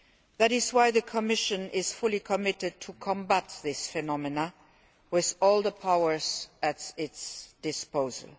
That is why the Commission is fully committed to combating this phenomenon with all the powers at our disposal.